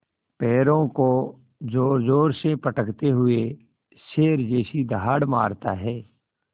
पैरों को ज़ोरज़ोर से पटकते हुए शेर जैसी दहाड़ मारता है